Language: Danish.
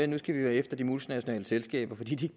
nu skal vi være efter de multinationale selskaber fordi de